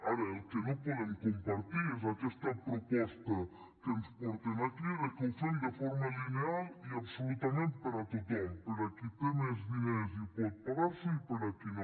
ara el que no podem compartir és aquesta proposta que ens porten aquí de que ho fem de forma lineal i absolutament per a tothom per a qui té més diners i pot pagar s’ho i per a qui no